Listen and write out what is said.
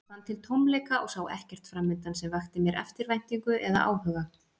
Ég fann til tómleika og sá ekkert framundan sem vakti mér eftirvæntingu eða áhuga.